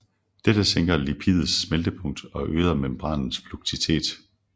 Dette sænker lipidets smeltepunkt og øger membranens fluiditet